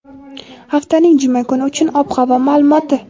haftaning juma kuni uchun ob-havo maʼlumoti.